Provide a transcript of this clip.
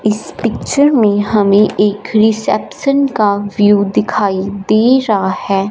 इस पिक्चर में हमें एक रिसेप्शन का व्यू दिखाई दे रहा है।